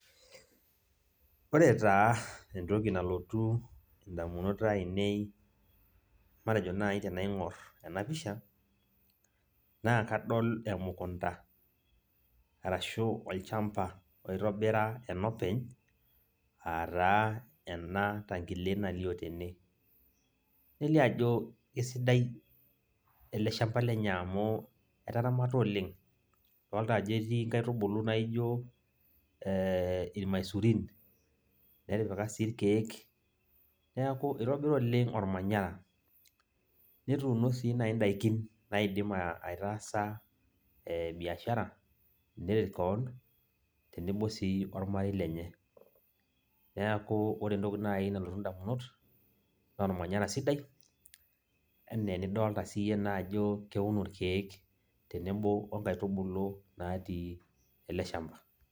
Ore taa entoki nalotu indamunot ainei, matejo nai tenaing'or enapisha, naa kadol emukunda, arashu olchamba oitobira enopeny, ataa ena tankile nalio tene. Nelio ajo esidai ele shamba lenye amu, etaramata oleng. Adolta ajo etii nkaitubulu naijo irmaisurin, netipika sii irkeek, neeku itobira oleng ormanyara. Netuuno si nai daikin naidim aitaasa biashara, neret keon, tenebo si ormarei lenye. Neeku ore entoki nai nalotu indamunot, naa ormanyara sidai, enaa enidolta siyie naa ajo keuno irkeek, tenebo onkaitubulu natii ele shamba.